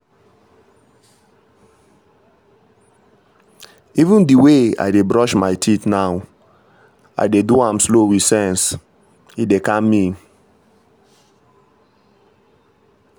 even the way i dey brush my teeth now i dey do am slow with sense — e dey calm me.